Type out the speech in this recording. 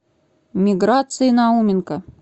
миграции науменко